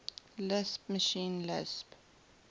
lisp machine lisp